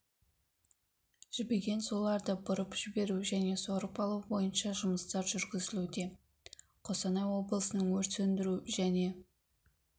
жібіген суларды бұрып жіберу және сорып алу бойынша жұмыстар жүргізілүде қостанай облысының өрт сөндіру және